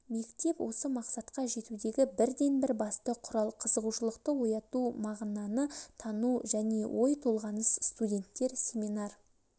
мектеп осы мақсатқа жетудегі бірден-бір басты құрал қызығушылықты ояту мағынаны тану және ой толғаныс студенттер семинар